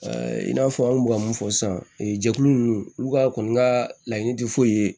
in n'a fɔ an kun bɛ ka mun fɔ sisan e jɛkulu ninnu olu ka kɔni ka laɲini tɛ foyi ye